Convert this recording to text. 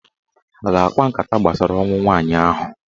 Ha a ga-akpa nkata gbasara ọnwụ nwaanyị ahụ?